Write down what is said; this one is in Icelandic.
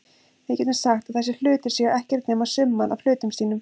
Við getum sagt að þessir hlutir séu ekkert nema summan af hlutum sínum.